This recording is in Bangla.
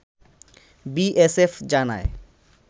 বিএসএফ জানায়